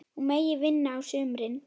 Hún megi vinna á sumrin.